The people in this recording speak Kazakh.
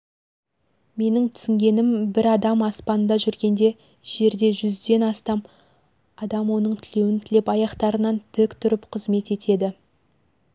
менің түсінгенім бір адам аспанда жүргенде жерде жүзден астам адам оның тілеуін тілеп аяқтарынан тік тұрып қызмет етеді